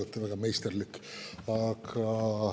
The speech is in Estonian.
Te olete väga meisterlik.